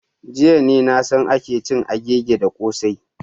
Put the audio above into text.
Jiya ne na san ake cin agigi da kossai.